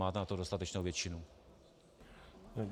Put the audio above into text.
Máte na to dostatečnou většinu.